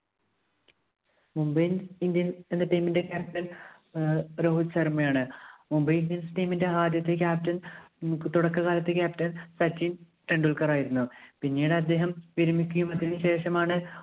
Mumbai Indian എന്ന team ഇന്റെ captain ഏർ രോഹിത് ശര്‍മ്മയാണ് Mumbai Indiansteam ഇന്റെ ആദ്യത്തെ captain തുടക്കകാലത്തെ captain സച്ചിന്‍ ടെണ്ടുല്‍ക്കര്‍ ആയിരുന്നു. പിന്നീട് അദ്ദേഹം‍ വിരമിക്കുകയും അതിനു ശേഷമാണ്